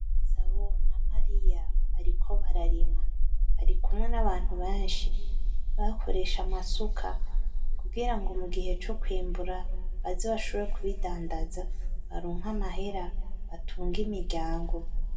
Masabo na mariya bariko bararima barikumwe n'abantu benshi bakoresha amasuka kugirango mu gihe co kwimbura baze bashobore kubidandaza baronke amahera batunge imiryango.